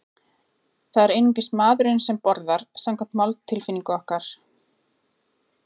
Það er einungis maðurinn sem borðar, samkvæmt máltilfinningu okkar.